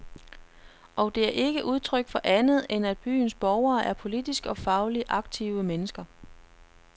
Og det er ikke udtryk for andet, end at byens borgere er politisk og fagligt aktive mennesker.